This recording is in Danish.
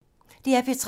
DR P3